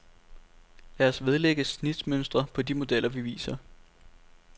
Lad os vedlægge snitmønstre på de modeller vi viser.